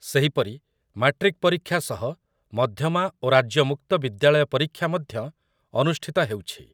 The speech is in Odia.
ସେହିପରି ମାଟ୍ରିକ୍ ପରୀକ୍ଷା ସହ ମଧ୍ୟମା ଓ ରାଜ୍ୟ ମୁକ୍ତ ବିଦ୍ୟାଳୟ ପରୀକ୍ଷା ମଧ୍ୟ ଅନୁଷ୍ଠିତ ହେଉଛି ।